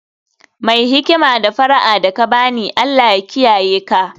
Mai hikima, d fara'a da ka ba ni, Allah ya kiyaye ka